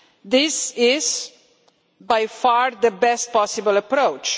This is by far the best possible approach.